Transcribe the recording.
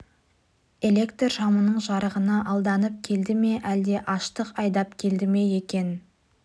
электр шамының жарығына алданып келді ме әлде аштық айдап келді ме екен